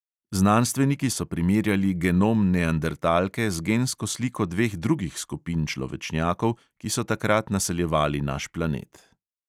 Znanstveniki so primerjali genom neandertalke z gensko sliko dveh drugih skupin človečnjakov, ki so takrat naseljevali naš planet.